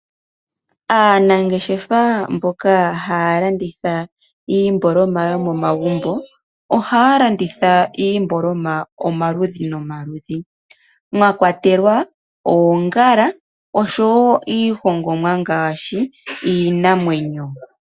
Aanangeshefa mboka haya landitha iimbooloma yomomagumbo ohaya landitha iimboloma omaludhi nomaludhi mwakwatelwa oongala oshowo iihongomwa ngaashi iinamwenyo .